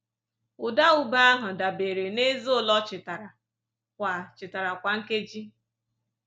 Ụda ube ahụ dabere n’eze ole o chitara kwa chitara kwa nkeji.